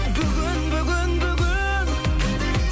бүгін бүгін бүгін